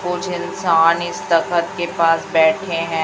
कुछ इंसान इस तखत के पास बैठे हैं।